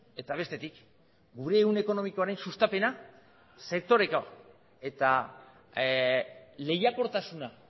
eta bestetik gure ehun ekonomikoaren sustapena sektoreka eta lehiakortasuna